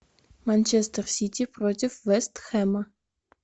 манчестер сити против вест хэма